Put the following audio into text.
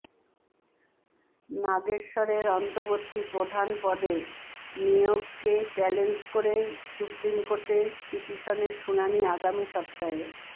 নাগেশ্বরের অন্তর্বর্তী প্রধান পদে নিয়োগকে চ্যালেঞ্জ করে সুপ্রিম কোর্টে পিটিশনের শুনানি আগামী সপ্তাহে